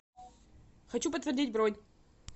хочу подтвердить бронь